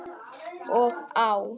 Og á.